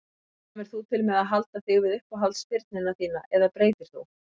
Kemur þú til með að halda þig við uppáhalds spyrnuna þína eða breytir þú?